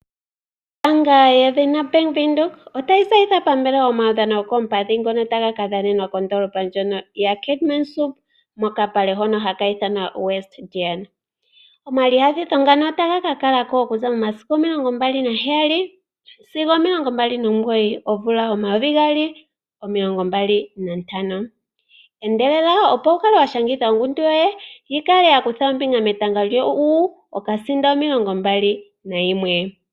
Ombaanga yo Bank widhoek otayi tseyitha omaudhano gokoompadhi ngono taga ka kakala ko ndoolopa ya Keetmanshoop mokapale ka Westdene. Shika otashikakalako momasiku omilongo mbali naheyali sigo omilongombali nomugoyi omumvo omayovi gaali nomilongo mbali nantano. ano ototseyilwa opo wu shangithe ongundu yoye opo wukuthe ombinga muudhano mbuka